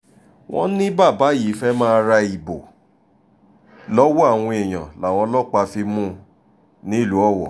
wọ́n ní bàbá yìí fẹ́ẹ́ máa ra ìbò lọ́wọ́ àwọn èèyàn làwọn ọlọ́pàá fi mú un nílùú owó